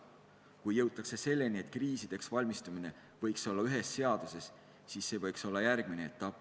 Kui jõutakse selleni, et kriisideks valmistumine võiks olla ühes seaduses, siis see võiks olla järgmine etapp.